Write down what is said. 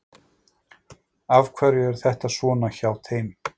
Af hverju er þetta svona hjá þeim?